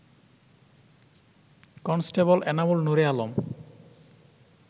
constable Enamul Nure Alam